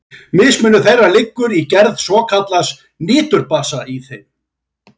Mismunur þeirra liggur í gerð svokallaðs niturbasa í þeim.